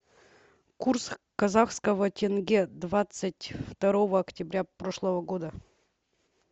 курс казахского тенге двадцать второго октября прошлого года